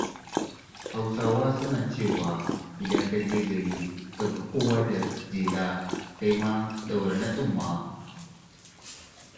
Hausawa suna cewa “idan ka je gari ka ga kowa da jela, kai ma ɗaura ta tsumma.”